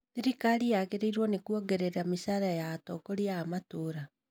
Thirikari yagĩrĩirwo nĩ kuongerera mĩcara ya atongoria a matũra